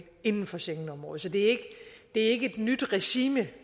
inden for schengenområdet så det er ikke et nyt regime